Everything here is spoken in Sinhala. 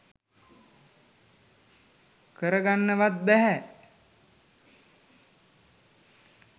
කරගන්නවත් බැහැ.